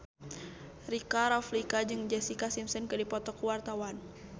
Rika Rafika jeung Jessica Simpson keur dipoto ku wartawan